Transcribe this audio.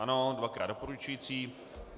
Ano, dvakrát doporučující.